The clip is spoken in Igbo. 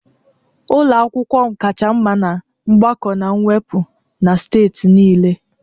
Ụlọ akwụkwọ m kacha mma na mgbakọ na mwepụ na steeti niile